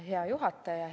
Hea juhataja!